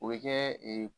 O bɛ kɛ ee